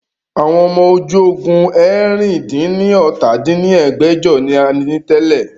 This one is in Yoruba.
Àwọn ọmọ ojú ogun eérinlá-dín-ní-ọ́ta dín ní ẹgbẹ́jọ ni a ní tẹ́lẹ̀